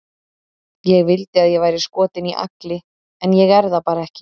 Ég vildi að ég væri skotin í Agli, en ég er það bara ekki.